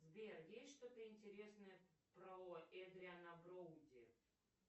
сбер есть что то интересное про эдриана броуди